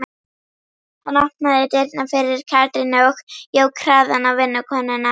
Hann opnaði dyrnar fyrir Katrínu og jók hraðann á vinnukonunum.